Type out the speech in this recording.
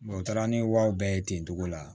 u taara ni wariw bɛɛ ye ten togo la